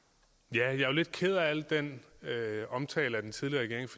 er lidt ked af al den omtale af den tidligere regering